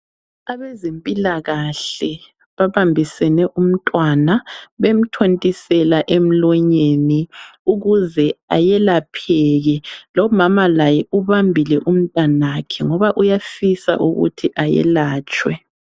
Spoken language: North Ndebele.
Abezempilakahle babambisene umntwana, bemthontisela emlonyeni ukuze ayelapheke. Lomama laye ubambile umntanakhe ngoba uyafisa ukuthi ayelatshwe .